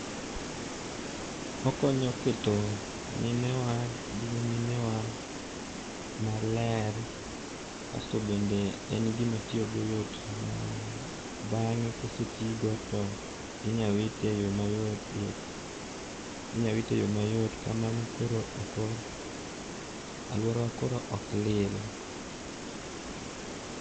Okonyo keto mine wa gi nyimine wa maler kasto bende en gima tiyo go yot ma bange kosetii go to inya wite e yo mayot, inyal wite e yoo mayot kamano koro, aluorawa koro ok lil